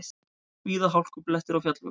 Víða hálkublettir á fjallvegum